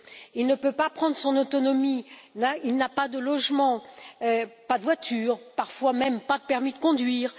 Il ne peut pas prendre son autonomie, il n'a pas de logement, pas de voiture, parfois même, pas de permis de conduire.